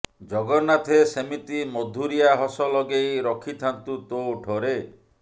ଜଗନ୍ନାଥେ ସେମିତି ମଧୁରିଆ ହସ ଲଗେଇ ରଖିଥାନ୍ତୁ ତୋ ଓଠରେ